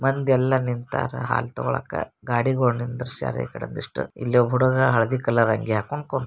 ಮಂದಿಯಲ್ಲ ನಿಂತಾರ ಹಾಲ್ ತೊಗೊಳಾಕ. ಗಾದಿಗೊಳ್ ನಿನ್ದಾರ್ಶ್ಯಾರ್ ಈಕಡೆ ಒಂದಿಷ್ಟ್. ಇಲ್ ಒಬ್ಬ ಹುಡುಗ ಹಲ್ದಿ ಕಲರ್ ಅಂಗಿ ಹಾಕ್ಕೊಂಡ ಕುಂ --